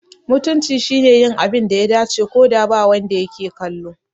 Mutunci shine yin abin da ya dace, ko da ba wanda yake kallo.